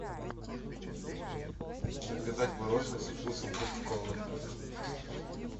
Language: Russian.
заказать мороженое со вкусом кока колы